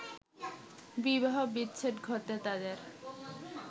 বিবাহ বিচ্ছেদ ঘটে তাদের